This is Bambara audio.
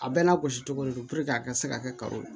A bɛɛ n'a gosi cogo don puruke a ka se ka kɛ kalo